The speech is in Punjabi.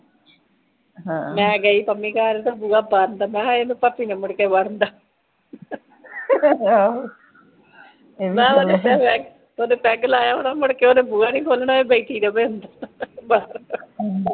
ਮਹਿ ਗਹਿ ਪੰਮੀ ਘਰ ਓਦਰ ਬੂਹਾ ਬੰਦ ਮਹਿ ਕਿਹਾ ਓਦਰ ਪੱਪੀ ਨੇ ਮੁੜ ਕੇ ਵੜਨ ਦਾ ਮਹਿ ਓਨੂੰ ਦੱਸਿਆ ਓਣੇ ਪੈੱਗ ਲਾਯਾ ਹੋਣਾ ਮੋੜਕੇ ਓਨੇ ਬੂਹਾ ਨਹੀਂ ਖੋਲਣਾ ਪਾਵੇ ਬਠੀ ਰਵ੍ਹੇ ਅੰਦਰ